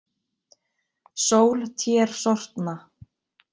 Sól tér sortna.